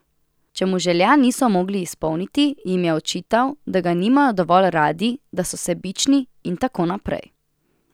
Če mu želja niso mogli izpolniti, jim je očital, da ga nimajo dovolj radi, da so sebični, in tako naprej.